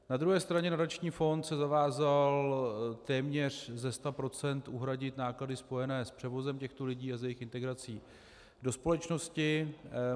Na druhé straně nadační fond se zavázal téměř ze 100 % uhradit náklady spojené s převozem těchto lidí a s jejich integrací do společnosti.